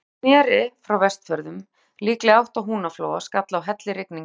Þegar hann sneri frá Vestfjörðum, líklega í átt að Húnaflóa, skall á hellirigning.